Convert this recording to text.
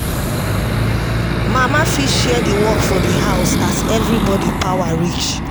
Mama fit share di work for di house as everybody power reach